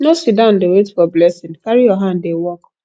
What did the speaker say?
no sit down dey wait for blessing carry your hand dey work